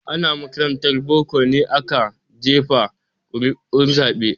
Ana makarantar boko ne aka jefa ƙuri'un zaben.